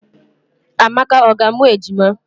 Amaka ọ ga amụ ejima?